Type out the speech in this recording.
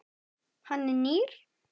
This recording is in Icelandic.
Hann er nýr.